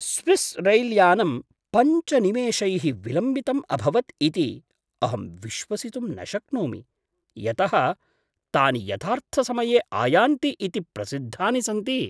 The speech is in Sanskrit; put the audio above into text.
स्विस् रैल्यानं पञ्च निमेषैः विलम्बितम् अभवत् इति अहं विश्वसितुं न शक्नोमि, यतः तानि यथार्थसमये आयान्ति इति प्रसिद्धानि सन्ति।